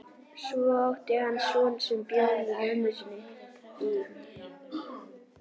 Svo átti hann son sem bjó með mömmu sinni í